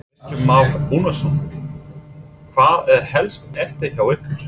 Kristján Már Unnarsson: Hvað er helst eftir hjá ykkur?